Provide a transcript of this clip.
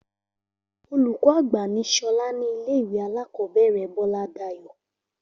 Olùkó àgbà ni Solá ní ilé ìwé alákòóbèrè Bóládayò